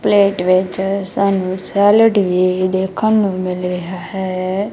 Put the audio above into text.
Plate ਵਿੱਚ ਸਾਨੂੰ salad ਵੀ ਦੇਖਣ ਨੂੰ ਮਿਲ ਰੇਹਾ ਹੈ।